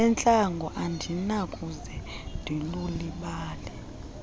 entlango andinakuze ndilulibale